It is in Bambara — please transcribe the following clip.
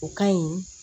O ka ɲi